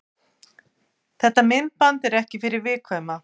Þetta myndband er ekki fyrir viðkvæma.